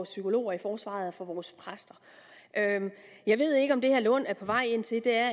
psykologer i forsvaret og for vores præster jeg ved ikke om det herre lund er på vej ind til er